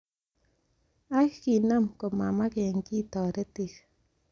Ak kinam komamagen kiy toritik.